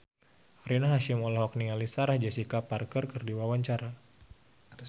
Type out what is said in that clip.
Rina Hasyim olohok ningali Sarah Jessica Parker keur diwawancara